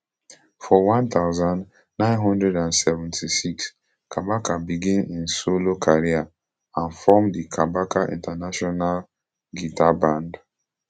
for one thousand, nine hundred and seventy-six kabaka begin im solo career and form the kabaka international guitar band